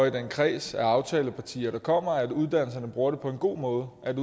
i den kreds af aftalepartier der kommer arbejde for at uddannelserne bruger det på en god måde at